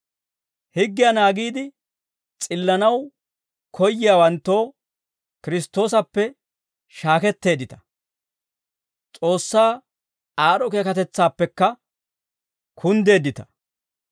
Higgiyaa naagiide s'illanaw koyyiyaawanttoo, Kiristtoosappe shaaketteeddita; S'oossaa aad'd'o keekatetsaappekka kunddeeddita.